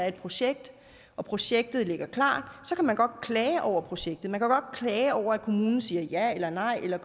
et projekt og projektet ligger klart kan man godt klage over projektet man kan godt klage over at kommunen siger ja eller nej eller